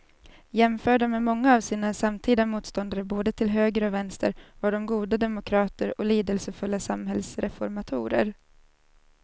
Jämförda med många av sina samtida motståndare både till höger och vänster var de goda demokrater och lidelsefulla samhällsreformatorer.